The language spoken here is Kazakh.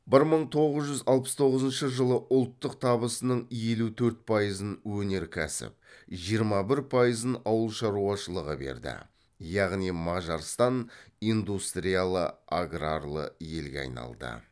бір мың тоғыз жүз алпыс тоғызыншы жылы ұлттық табысының елу төрт пайызын өнеркәсіп жиырма бір пайызын ауыл шаруашылығы берді яғни мажарстан индустриялы агралары елге айналды